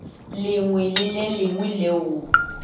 lengwe le le lengwe leo